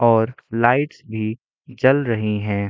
और लाइट्स भी जल रही है।